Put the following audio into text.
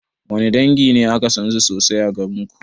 Wanne dangi ne aka sansu sosai a garinku?